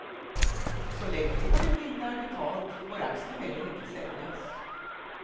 Så länge lånet inte är betalt får aktierna heller inte säljas.